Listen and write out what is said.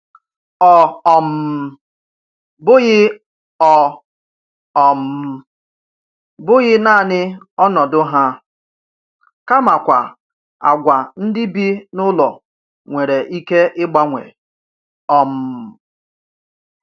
Ọ um bụghị Ọ um bụghị naanị ọnọdụ ha, kamakwa àgwà ndị bi n’ụlọ nwere ike ịgbanwe. um